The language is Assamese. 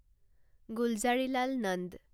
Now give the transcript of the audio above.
গুলজাৰিলাল নন্দ